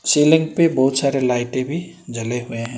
Ceiling पे बहुत सारे लाइटें भी जले हुए हैं।